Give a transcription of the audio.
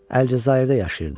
Əlcəzairdə yaşayırdım.